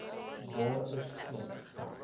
daar is geen